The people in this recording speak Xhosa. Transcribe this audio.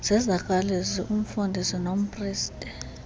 zezakwalizwi umfundisi nompriste